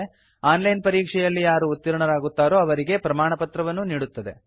on line ಪರೀಕ್ಷೆಯಲ್ಲಿ ಯಾರು ಉತ್ತೀರ್ಣರಾಗುತ್ತಾರೋ ಅವರಿಗೆ ಪ್ರಮಾಣಪತ್ರವನ್ನೂ ನೀಡುತ್ತದೆ